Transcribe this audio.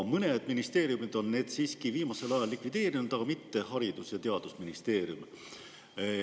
Mõned ministeeriumid on need viimasel ajal siiski likvideerinud, aga mitte Haridus- ja Teadusministeerium.